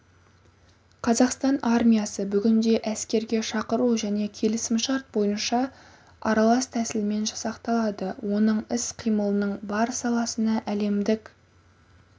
қазақстан армиясы бүгінде әскерге шақыру және келісімшарт бойынша аралас тәсілмен жасақталады оның іс-қимылының бар саласына әлемдік